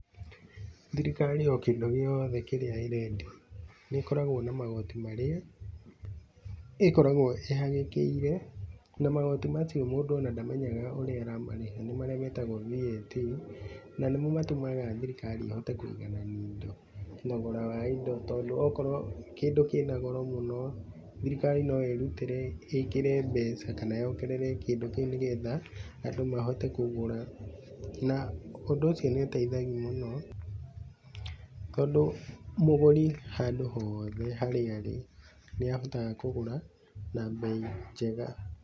Thirikari o kĩndũ gĩothe kĩrĩa ĩrendia nĩkoragwo na magoti marĩa ĩkoragwo ĩhagĩkĩire, na magoti macio mũndũ ona ndamenyaga ũrĩa aramarĩha nĩ marĩa metagwo VAT na nĩmo matũmaga thirikari ĩhote kũiganania indo, thogora wa indo tondũ okorwo kĩndũ kĩ na goro mũno, thirikari no ĩrutĩre ĩkĩre mbeca kana yongerere kĩndũ kĩu nĩgetha andũ mahote kũgũra na ũndũ ũcio nĩ ũteithagia mũno tondũ mũgũri handũ hothe harĩa arĩ, nĩ ahotaga kũgũra na mbei njega.